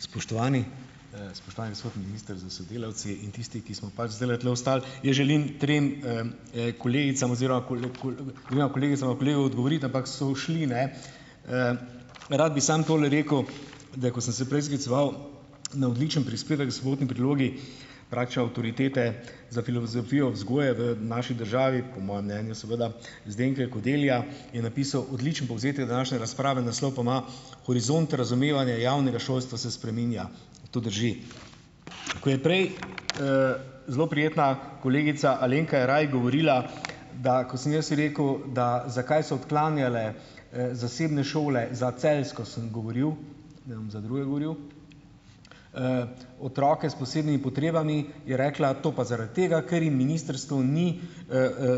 Spoštovani, spoštovani gospod minister s sodelavci in tisti, ki smo pač zdajle tule ostali! Jaz želim trem, kolegicam oziroma dvema kolegicama, kolegu odgovoriti, ampak so ušli, ne. Rad bi samo tole rekel, da ko sem se prej skliceval na odličen prispevek Sobotni prilogi, avtoritete za filozofijo vzgoje v naši državi, po mojem mnenju, seveda, Zdenke Kodelja, je napisal odličen povzetek današnje razprave, naslov pa ima Horizont razumevanja javnega šolstva se spreminja. To drži. Ko je prej, zelo prijetna kolegica Alenka Jeraj govorila, da, ko sem jaz rekel, da zakaj so odklanjale, zasebne šole, za celjsko sem govoril, ne za druge govoril, otroke s posebnimi potrebami, je rekla, to pa zaradi tega, ker jim ministrstvo ni,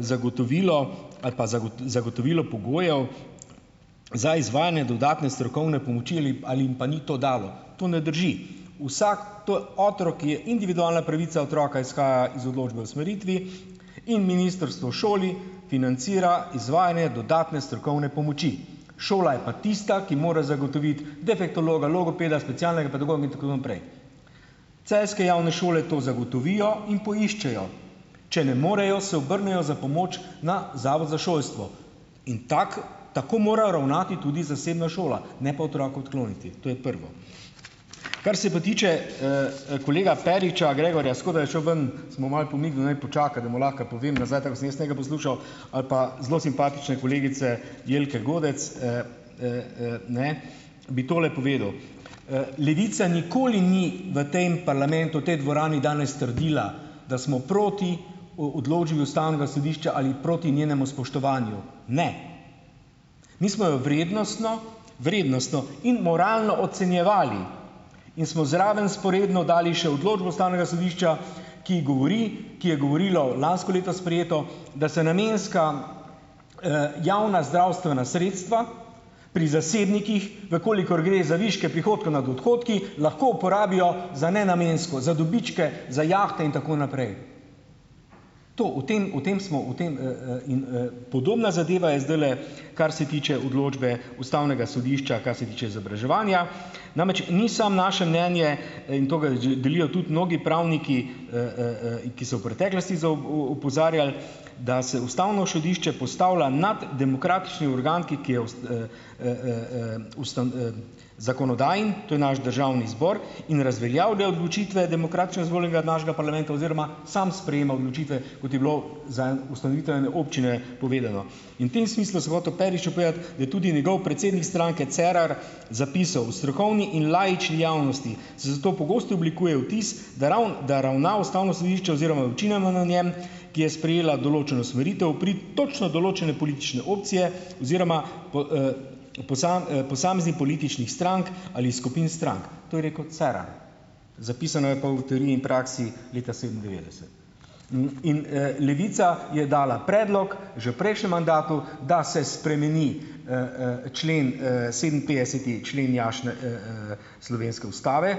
zagotovilo ali pa zagotovilo pogojev za izvajanje dodatne strokovne pomoči ali ali jim pa ni to dalo. To ne drži. Vsak, to je otrok, je, individualna pravica otroka izhaja iz odločbe o usmeritvi in ministrstvo šoli financira izvajanje dodatne strokovne pomoči. Šola je pa tista, ki mora zagotoviti defektologa, logopeda, specialnega pedagoga in tako naprej. Celjske javne šole to zagotovijo in poiščejo. Če ne morejo, se obrnejo za pomoč na Zavod za šolstvo. In tako tako morajo ravnati tudi zasebna šola. Ne pa otroka odkloniti. To je prvo. Kar se pa tiče, kolega Periča Gregorja, škoda, je šel ven, sem mu malo pomignil, naj počaka, da mu lahko povem nazaj, tako kot sem jaz njega poslušal, ali pa zelo simpatične kolegice Jelke Godec, ne, bi tole povedal. Levica nikoli ni v tem parlamentu v tej dvorani danes trdila, da smo proti odločbi ustavnega sodišča ali proti njenemu spoštovanju. Ne. Mi smo jo vrednostno, vrednostno in moralno ocenjevali in smo zraven dali še odločbo ustavnega sodišča, ki govori, ki je govorila o lansko leto sprejeto, da se namenska, javna zdravstvena sredstva pri zasebnikih, v kolikor gre za viške prihodkov nad odhodki, lahko uporabijo za nenamensko, za dobičke, za jahte in tako naprej. To, o tem, o tem smo, o tem, in, podobna zadeva je zdajle, kar se tiče odločbe ustavnega sodišča, kar se tiče izobraževanja. Namreč, ni samo naše mnenje in to ga delijo tudi mnogi pravniki, ki so v preteklosti opozarjali, da se ustavno sodišče postavlja nad demokratični organ, ki ki je zakonodajen, to je naš državni zbor, in razveljavlja odločitve demokratično izvoljenega našega parlamenta oziroma samo sprejema odločitve, kot je bilo za en ustanovitev ene občine povedano. In v tem smislu sem hotel Periču povedati, da tudi njegov predsednik stranke Cerar zapisal: "V strokovni in laični javnosti se zato pogosto oblikuje vtis, da da ravna ustavno sodišče oziroma njem, ki je sprejela določeno usmeritev pri točno določene politične opcije oziroma posameznih političnih strank ali skupin strank." To je rekel Cerar. Zapisano je pa v Teoriji in praksi leta sedemindevetdeset. In, Levica je dala predlog že prejšnjem mandatu, da se spremeni, člen, sedeminpetdeseti člen jašne, slovenske ustave.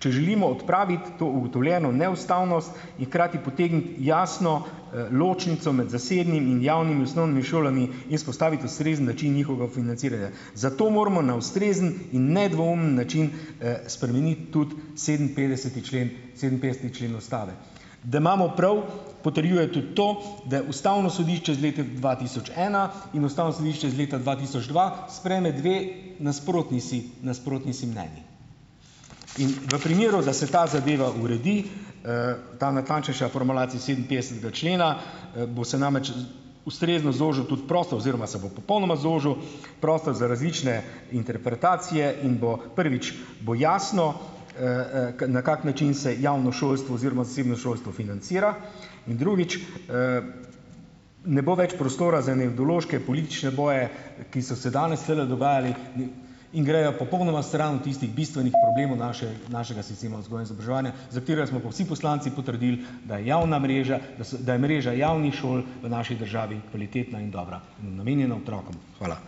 Če želimo odpraviti to ugotovljeno neustavnost hkrati potegniti jasno, ločnico med zasebnimi in javnimi osnovnimi šolami in vzpostaviti ustrezen način njihovega financiranja. Zato moramo na ustrezen in nedvoumen način, spremeniti tudi sedeminpetdeseti člen sedeminpetdeseti člen ustave. Da imamo prav, potrjuje tudi to, da je ustavno sodišče iz leta dva tisoč ena in ustavno sodišče iz leta dva tisoč dva sprejme dve nasprotni si nasprotni si mnenji. In v primeru, da se ta zadeva uredi, ta natančnejša formulacija sedeminpetdesetega člena, bo se namreč ustrezno zožil tudi prostor oziroma se bo popolnoma zožil prostor za različne interpretacije in bo prvič bo jasno, na kak način se javno šolstvo oziroma zasebno šolstvo financira, in drugič, ne bo več prostora za ene politične boje, ki so se danes tulele dogajali in grejo popolnoma stran od tistih bistvenih problemov našega sistema vzgoje, izobraževanja, za katerega smo pa vsi poslanci potrdili, da je javna mreža, da da je mreža javnih šol v naši državi kvalitetna in dobra, namenjena otrokom. Hvala.